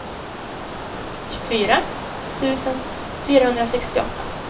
tjugofyra tusen fyrahundrasextioåtta